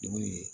Dugu ye